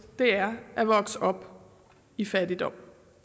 er at vokse op i fattigdom